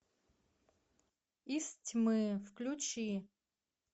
из тьмы включи